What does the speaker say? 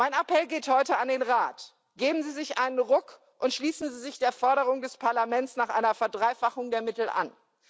Mein Appell geht heute an den Rat Geben Sie sich einen Ruck und schließen Sie sich der Forderung des Parlaments nach einer Verdreifachung der Mittel an!